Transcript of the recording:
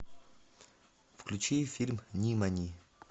включи фильм нимани